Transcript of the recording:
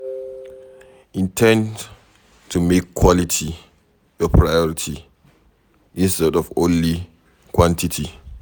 In ten d to make quality your priority instead of only quantity